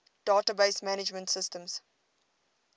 database management systems